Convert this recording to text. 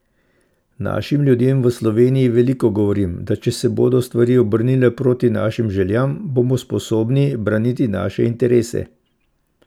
Našim ljudem v Sloveniji veliko govorim, da če se bodo stvari obrnile proti našim željam, bomo sposobni braniti naše interese.